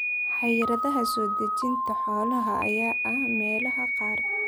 Xayiraadaha soo dejinta xoolaha ayaa ah meelaha qaar.